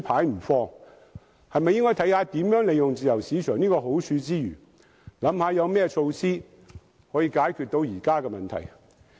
應否考慮在怎樣利用自由市場的好處之餘，有何措施解決現時的問題？